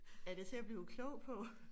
Er det til at blive klog på?